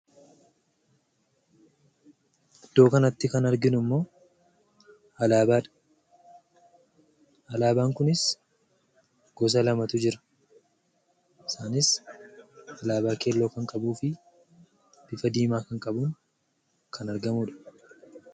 Iddoo kanatti kan arginuu immoo Alabaadha. Alabaan kunis goosa lamatu jiraa isaanis Alabaa kelloo kan qabufi bifa dimaa kan qabu kan argamudha.